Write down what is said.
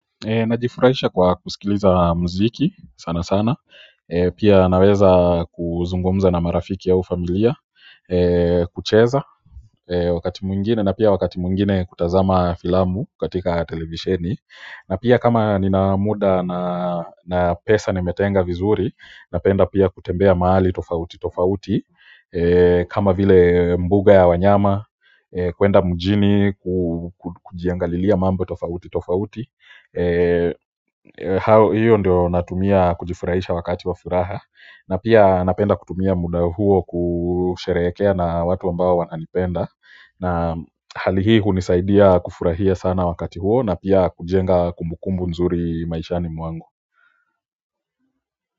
Najifurahisha kwa kusikiliza mziki sana sana pia naweza kuzungumza na marafiki au familia kucheza wakati mwingine na pia wakati mwingine kutazama filamu katika televisheni na pia kama nina muda na pesa nimetenga vizuri napenda pia kutembea mahali tofauti tofauti kama vile mbuga ya wanyama kuenda mjini kujiangalilia mambo tofauti tofauti hiyo ndio natumia kujifurahisha wakati wa furaha na pia napenda kutumia muda huo kusherehekea na watu ambao wananipenda na hali hii hunisaidia kufurahia sana wakati huo na pia kujenga kumbukumbu nzuri maishani mwangu.